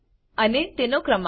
અને તેનો ક્રમાંક